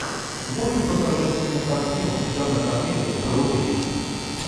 можешь показать кинокартину жанр комедия про увечия